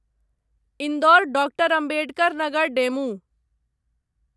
Indore doctor Ambedkar Nagar DEMU